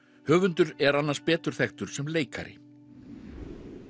höfundur er annars betur þekktur sem leikari